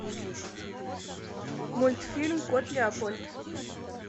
мультфильм кот леопольд